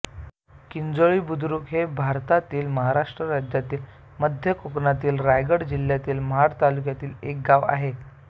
किंजलोळी बुद्रुक हे भारतातील महाराष्ट्र राज्यातील मध्य कोकणातील रायगड जिल्ह्यातील महाड तालुक्यातील एक गाव आहे